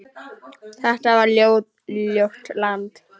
Þetta var ljótt land.